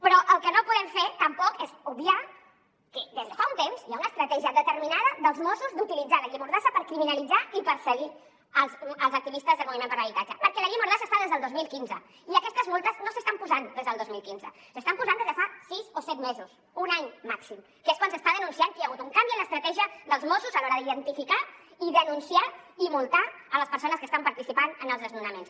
però el que no podem fer tampoc és obviar que des de fa un temps hi ha una estratègia determinada dels mossos d’utilitzar la llei mordassa per criminalitzar i perseguir els activistes del moviment per l’habitatge perquè la llei mordassa hi és des del dos mil quinze i aquestes multes no s’estan posant des del dos mil quinze s’estan posant des de fa sis o set mesos un any màxim que és quan s’està denunciant que hi ha hagut un canvi en l’estratègia dels mossos a l’hora d’identificar i denunciar i multar les persones que estan participant en els desnonaments